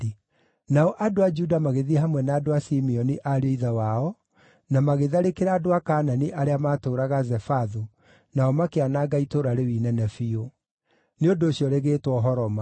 Nao andũ a Juda magĩthiĩ hamwe na andũ a Simeoni ariũ a ithe wao, na magĩtharĩkĩra andũ a Kaanani arĩa maatũũraga Zefathu, nao makĩananga itũũra rĩu inene biũ. Nĩ ũndũ ũcio rĩgĩtwo Horoma.